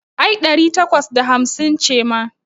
Ai ɗari takwas da hamsin ce ma.